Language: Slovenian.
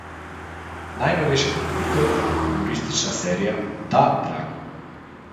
Najnovejša pridobitev, humoristična serija Da, dragi!